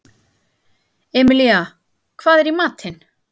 Emilía, hvað er í matinn?